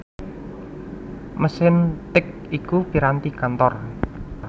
Mesin tik iku piranti kantor